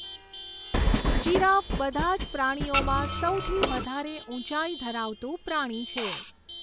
Giraffe બધાં જ પ્રાણીઓમાં સૌથી વધારે ઊંચાઈ ધરાવતું પ્રાણી છે.